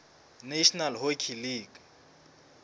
national hockey league